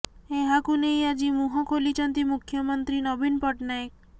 ଏହାକୁ ନେଇ ଆଜି ମୁହଁ ଖୋଲିଛନ୍ତି ମୁଖ୍ୟମନ୍ତ୍ରୀ ନବୀନ ପଟ୍ଟନାୟକ